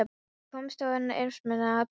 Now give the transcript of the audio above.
Við komumst án erfiðismuna að Brunnhóli.